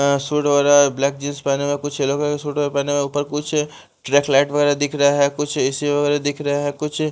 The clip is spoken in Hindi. अ सूट वगैरा ब्लैक जींस पहने में कुछ येलो कलर सूट पहने हुए ऊपर कुछ ट्रैक लाइट वगैरा दिख रहा है कुछ ए_सी वगैरा दिख रहा है कुछ--